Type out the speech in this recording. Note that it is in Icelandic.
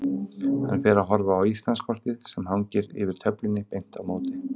Hann fer að horfa á Íslandskortið sem hangir yfir töflunni beint á móti.